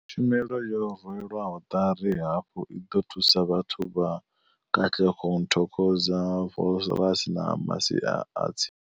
Tshumelo yo rwelwaho ṱari hafhu i ḓo thusa vhathu vha Katlehong, Thokoza, Vosloorus na masia a tsi.